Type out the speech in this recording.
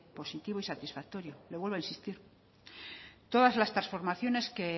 positivo y satisfactorio le vuelvo a insistir todas las transformaciones que